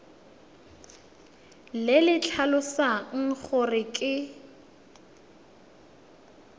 le le tlhalosang gore ke